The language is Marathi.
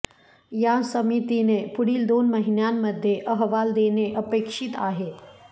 या समितीने पुढील दोन महिन्यांमध्ये अहवाल देणे अपेक्षित आहे